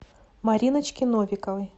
мариночке новиковой